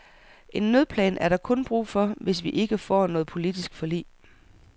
En nødplan er der kun brug for, hvis vi ikke får noget politisk forlig.